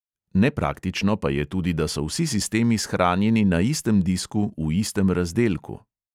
Nepraktično pa je tudi, da so vsi sistemi shranjeni na istem disku v istem razdelku.